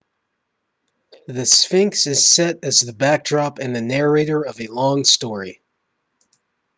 the sphinx is set as the backdrop and the narrator of a long story